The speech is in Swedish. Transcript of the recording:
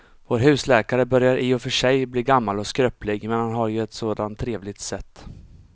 Vår husläkare börjar i och för sig bli gammal och skröplig, men han har ju ett sådant trevligt sätt!